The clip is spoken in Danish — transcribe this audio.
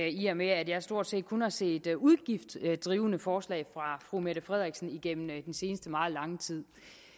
i og med at jeg stort set kun har set udgiftsdrivende forslag fra fru mette frederiksen igennem den seneste meget lange tid